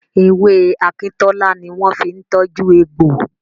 Ewé akíntọ́lá ni wọ́n fi ń tọ́jú egbò.